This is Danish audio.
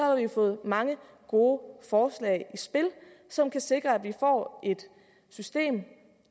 har vi fået mange gode forslag i spil som kan sikre at vi får et system